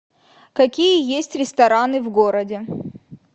какие есть рестораны в городе